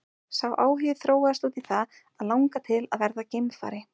Sá áhugi þróaðist út í það að langa til að verða geimfari.